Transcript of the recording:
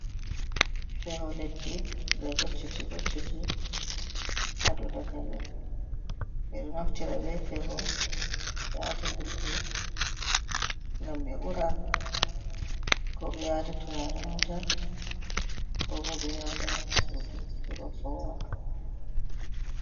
Feho leddi je gocceti gocceti ha dou dakali ɓeɗo naftira be feho ɓe wata yulbe ngam ɓe ura, ko ɓe wata turaren wuta, ko bo ɓe wata ha sudu heba fowa.